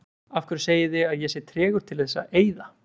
Af hverju segið þið að ég sé tregur til þess að eyða?